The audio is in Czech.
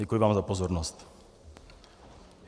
Děkuji vám za pozornost.